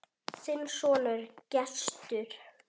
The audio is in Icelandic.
Þinn sonur, Gestur.